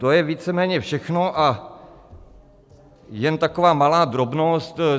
To je víceméně všechno a jen taková malá drobnost.